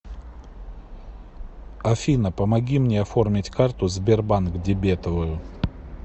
афина помоги мне оформить карту сбербанк дебетовую